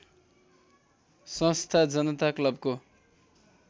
संस्था जनता क्लबको